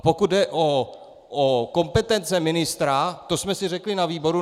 A pokud jde o kompetence ministra, to jsme si řekli na výboru.